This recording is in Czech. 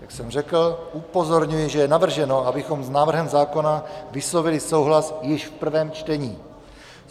Jak jsem řekl, upozorňuji, že je navrženo, abychom s návrhem zákona vyslovili souhlas již v prvém čtení.